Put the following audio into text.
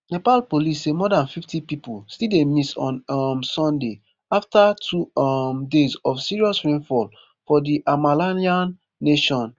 nepal police say more dan fifty pipo still dey miss on um sunday afta two um days of serious rainfall for di himalayan nation